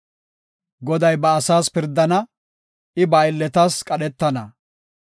Goday ba asaas pirdana; I ba aylletas qadhetana.